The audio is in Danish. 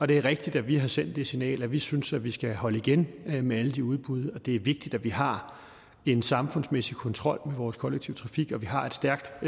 det er rigtigt at vi har sendt det signal at vi synes at vi skal holde igen med alle de udbud og at det er vigtigt at vi har en samfundsmæssig kontrol med vores kollektive trafik og at vi har et stærkt